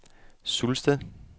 Sulsted